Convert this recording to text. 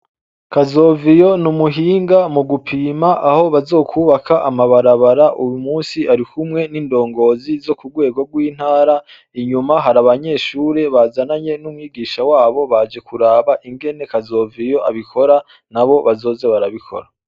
Kazoviyo n’umuhinga mu gupima aho bazokubaka amabarabara uyumusi arikumwe n’indongozi zo ku rwego rw’intara, inyuma hari abanyeshure bazananye n’umwigisha wabo baje kuraba ingene kazoviyo abikora nabo bazoze barabikora.